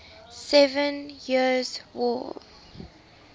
seven years war